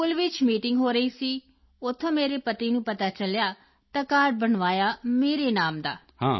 school ਵਿੱਚ meeting ਹੋ ਰਹੀ ਸੀ ਉੱਥੋਂ ਮੇਰੇ ਪਤੀ ਨੂੰ ਪਤਾ ਚਲਿਆ ਤਾਂ ਕਾਰਡ ਬਣਵਾਇਆ ਮੇਰੇ ਨਾਮ ਦਾ